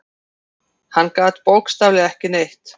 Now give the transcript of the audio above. Hann gat bókstaflega ekki neitt.